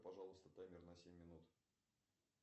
пожалуйста таймер на семь минут